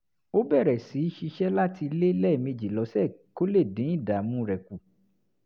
ó bẹ̀rẹ̀ sí í ṣiṣẹ́ láti ilé lẹ́ẹ̀mejì lọ́sẹ̀ kó lè dín ìdààmú rẹ̀ kù